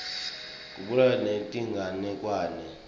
kubhalwa netinganekwane